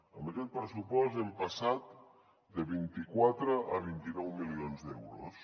amb aquest pressupost hem passat de vint quatre a vint nou milions d’euros